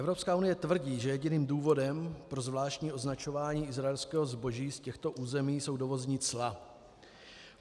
Evropská unie tvrdí, že jediným důvodem pro zvláštní označování izraelského zboží z těchto území jsou dovozní cla.